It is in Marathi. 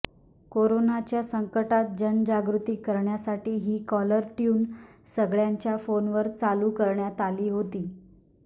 कोरोनाच्या संकटात जनजागृती करण्यासाठी ही कॉलर ट्यून सगळ्यांच्या फोनवर चालू करण्यात आली होती